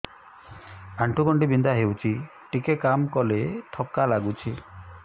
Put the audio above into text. ଆଣ୍ଠୁ ଗଣ୍ଠି ବିନ୍ଧା ହେଉଛି ଟିକେ କାମ କଲେ ଥକ୍କା ଲାଗୁଚି